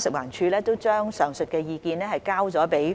食環署已將上述意見交由建